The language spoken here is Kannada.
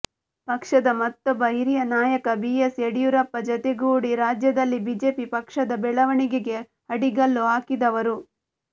ಪಕ್ಷದ ಮತ್ತೊಬ್ಬ ಹಿರಿಯ ನಾಯಕ ಬಿಎಸ್ ಯಡಿಯೂರಪ್ಪ ಜತೆಗೂಡಿ ರಾಜ್ಯದಲ್ಲಿ ಬಿಜೆಪಿ ಪಕ್ಷದ ಬೆಳವಣಿಗೆಗೆ ಅಡಿಗಲ್ಲು ಹಾಕಿದವರು